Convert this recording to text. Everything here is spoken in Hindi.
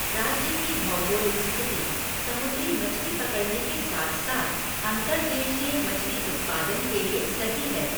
राज्य की भौगोलिक स्थिति समुद्री मछली पकड़ने के साथ साथ अंतर्देशीय मछली उत्पादन के लिए सही है।